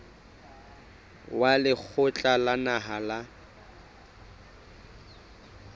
wa lekgotla la naha la